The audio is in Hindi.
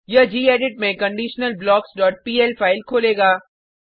यह गेडिट में conditionalblocksपीएल फाइल खोलेगा